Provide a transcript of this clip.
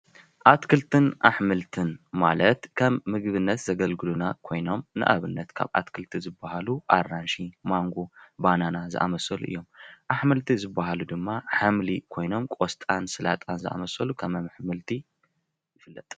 ኣትክልትን ኣሕምልትን ማለት ከም ንምግብነት ዘገልግሉና ኮይኖም ንኣብነት ፦ ካብ ኣትክልቲ ዝበሃሉ ኣራንሺ ፣ማንጎ፣ ባናናን ዝኣመሰሉ እዮም ።ኣሕምልቲ ዝበሃሉ ድማ ኣሕምሊ ኮይኖም ቆስጣን ስላጣን ዝኣመሰሉ ከም ኣሕምልቲ ይፍለጥ ።